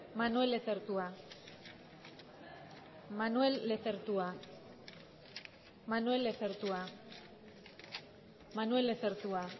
manuel lezertua manuel lezertua manuel lezertua manuel lezertua